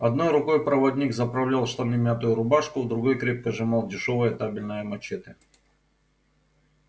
одной рукой проводник заправлял в штаны мятую рубашку в другой крепко сжимал дешёвое табельное мачете